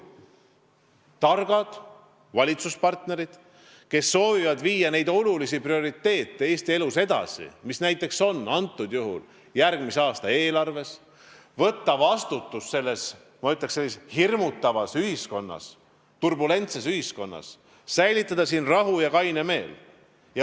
Targad valitsuspartnerid soovivad viia Eesti elus edasi neid olulisi prioriteete, mis näiteks on järgmise aasta eelarves, soovivad võtta vastutust selles, ma ütleksin, hirmutavas ühiskonnas, turbulentses ühiskonnas ning säilitada siin rahu ja kaine meel.